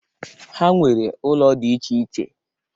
Ha nwere ụlọ dị iche iche.